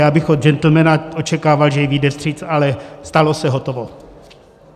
Já bych od gentlemana očekával, že jí vyjde vstříc, ale stalo se, hotovo.